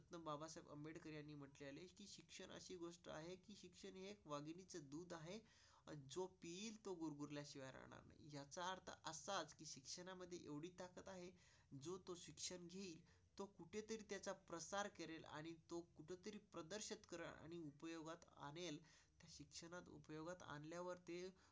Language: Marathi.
उपयोगात आणल्यावर.